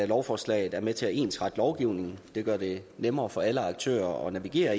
lovforslaget er med til at ensrette lovgivningen det gør det nemmere for alle aktører at navigere